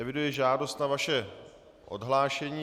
Eviduji žádost o vaše odhlášení.